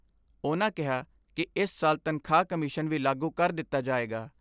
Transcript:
ਉਨ੍ਹਾਂ ਕਿਹਾ ਕਿ ਇਸ ਸਾਲ ਤਨਖਾਹ ਕਮਿਸ਼ਨ ਵੀ ਲਾਗੂ ਕਰ ਦਿੱਤਾ ਜਾਏਗਾ।